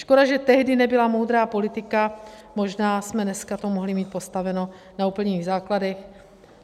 Škoda, že tehdy nebyla moudrá politika, možná jsme to dneska mohli mít postaveno na úplných základech.